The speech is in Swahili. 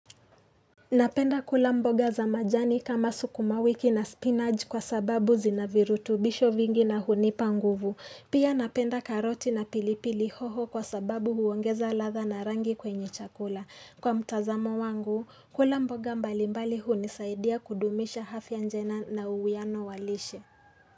Rapenda kula mboga za majani kama sukumawiki na spinach kwa sababu zinavirutubisho vingi na hunipa nguvu. Pia napenda karoti na pilipili hoho kwa sababu huongeza ladha na rangi kwenye chakula. Kwa mtazamo wangu, kula mboga mbalimbali hunisaidia kudumisha hafya njena na uwiano walishe.